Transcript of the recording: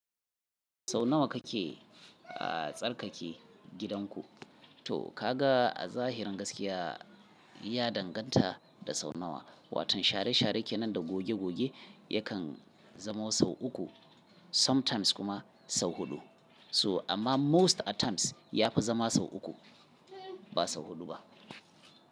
Sau nawa kake, ah tsarkake gidan ku? To ka ga a zahirin gaskiya ya danganta da sau nawa. Watan share-share kenan da goge-goge yakan zamo sau uku sometimes kuma sau huɗu. So amma most at times yafi zama sau uku, ba sau huɗu ba.